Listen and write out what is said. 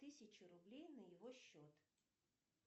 тысячу рублей на его счет